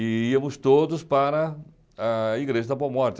E íamos todos para a Igreja ah da Boa Morte.